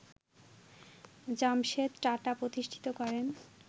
জামশেদ টাটা প্রতিষ্ঠিত করেন